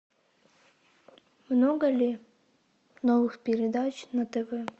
много ли новых передач на тв